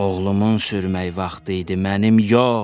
Oğlumun sürməyi vaxtı idi, mənim yox.